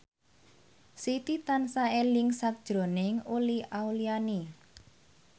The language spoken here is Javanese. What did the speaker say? Siti tansah eling sakjroning Uli Auliani